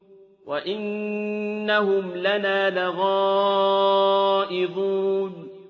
وَإِنَّهُمْ لَنَا لَغَائِظُونَ